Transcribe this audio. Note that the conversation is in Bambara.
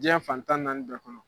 Diɲa fan tan ni naani bɛɛ kɔnɔ